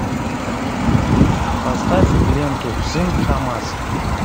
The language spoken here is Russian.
поставь ленту сын хамас